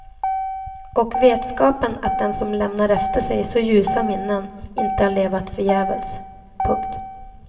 Och vetskapen att den som lämnar efter sig så ljusa minnen inte har levat förgäves. punkt